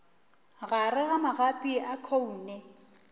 gare ga magapi a khoune